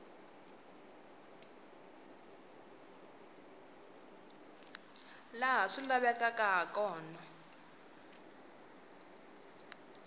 laha swi lavekaka ha kona